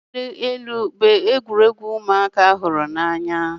Ị wuli elu bụ egwuregwu ụmụaka hụrụ n'anya